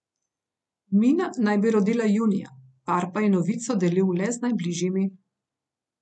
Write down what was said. Mina naj bi rodila junija, par pa je novico delil le z najbližjimi.